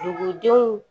Dugudenw